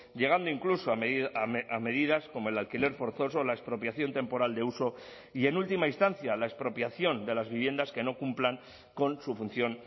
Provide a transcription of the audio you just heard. llegando incluso a medidas como el alquiler forzoso o la expropiación temporal de uso y en última instancia la expropiación de las viviendas que no cumplan con su función